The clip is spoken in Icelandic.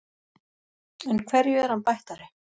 En hverju er hann bættari?